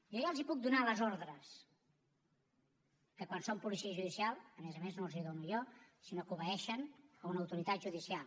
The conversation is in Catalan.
jo ja els puc donar les ordres que quan són policia judicial a més a més no els les dono jo sinó que obeeixen una autoritat judicial